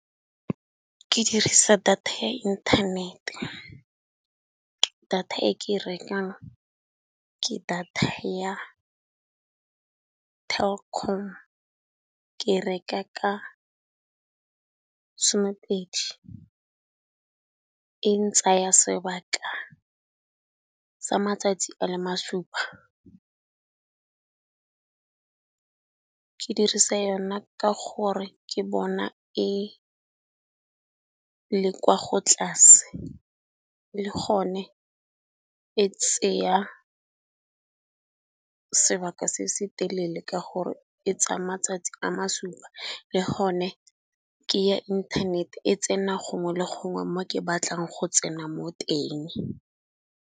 Ke dirisa data ya inthanete, data e ke rekang ke data ya Telkom ke reka ka somepedi. E ntsaya sebaka sa matsatsi a le masupa, ke dirisa yona ka gore ke bona e le kwa go tlase le gone e tseya sebaka se se telele ka gore e tsaya matsatsi a masupa le gone ke ya inthanete e tsena gongwe le gongwe mo ke batlang go tsena mo teng.